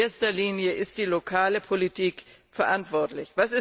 In erster Linie ist die lokale Politik verantwortlich.